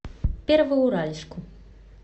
первоуральску